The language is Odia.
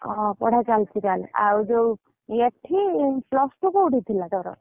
ଓହୋ ପଢା ଚାଲିଛି ତାହେଲେ ଆଉ ଯୋଉ, ଏଠି, plus two କୋଉଠି ଥିଲା ତୋର?